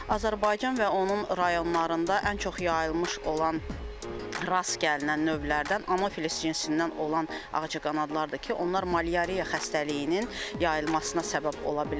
Azərbaycan və onun rayonlarında ən çox yayılmış olan rast gəlinən növlərdən Anafilis cinsindən olan ağcaqanadlar da ki, onlar malyariya xəstəliyinin yayılmasına səbəb ola bilər.